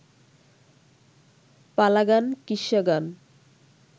পালাগান, কিস্সাগান